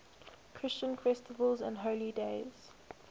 christian festivals and holy days